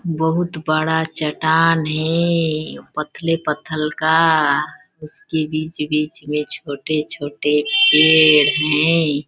बहुत बड़ा चटान है ये पथले पथल का उसके बीच -बीच में छोटे छोटे पेड़ है .